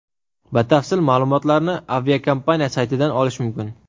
Batafsil ma’lumotlarni aviakompaniya saytidan olish mumkin.